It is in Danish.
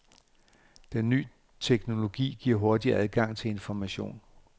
Den nye teknologi giver hurtig adgang til information.